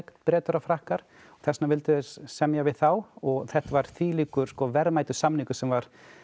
Bretar og Frakkar og þess vegna vildu þeir semja við þá og þetta var þvílíkt verðmætur samningur sem var